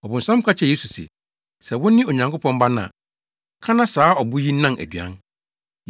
Ɔbonsam ka kyerɛɛ Yesu se, “Sɛ wone Onyankopɔn Ba no a, ka na saa abo yi nnan aduan.”